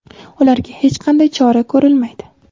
ularga hech qanday chora ko‘rilmaydi.